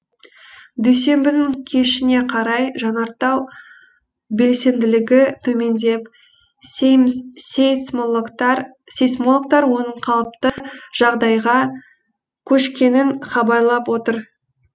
дүйсенбінің кешіне қарай жанартау белсенділігі төмендеп сейсмологтар сейсмологтар оның қалыпты жағдайға көшкенін хабарлап отыр